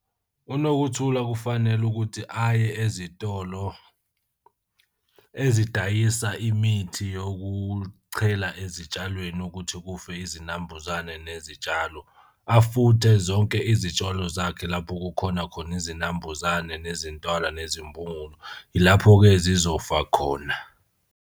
UNokuthula kufanele ukuthi aye ezitolo ezidayisa imithi yokuchela ezitshalweni ukuthi kufe izinambuzane nezitshalo. Afuthe zonke izitshalo zakhe lapho kukhona khona izinambuzane nezintwala nezimbhungulu. Ilapho-ke zizofa khona.